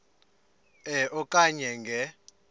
e okanye nge